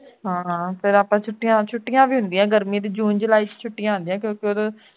ਫੇਰ ਆਪਾਂ ਛੁੱਟੀਆਂ ਛੁੱਟੀਆਂ ਵੀ ਹੁੰਦੀ ਹੈ ਗਰਮੀ ਦੀ june july ਚ ਛੁੱਟੀਆਂ ਹੁੰਦੀਆਂ ਹੈਂ